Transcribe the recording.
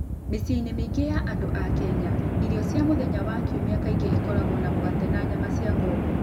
Mĩciĩ-inĩ mĩingĩ ya andũ a Kenya, irio cia mũthenya wa Kiumia kaingĩ ikoragwo na mũgate na nyama cia ng'ombe.